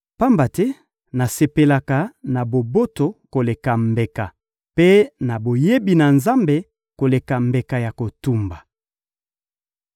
Pamba te nasepelaka na boboto koleka mbeka, mpe na boyebi ya Nzambe koleka mbeka ya kotumba.